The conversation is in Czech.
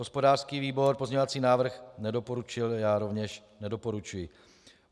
Hospodářský výbor pozměňovací návrh nedoporučil, já rovněž nedoporučuji.